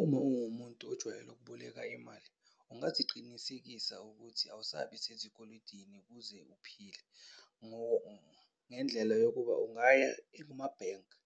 Uma uwumuntu ojwayele ukuboleka imali, ungaziqinisekisa ukuthi awusabi zikweletini ukuze uphile. Ngendlela yokuba ungaya ekumabhenki